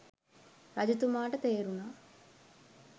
රජතුමාට තේරුණා